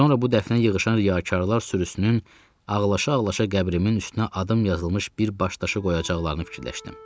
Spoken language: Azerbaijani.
Sonra bu dəfnə yığışan riyakarlar sürüsünün ağlaşa-ağlaşa qəbrimin üstünə adım yazılmış bir baş daşı qoyacaqlarını fikirləşdim.